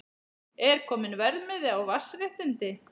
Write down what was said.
Er kominn verðmiði á vatnsréttindi?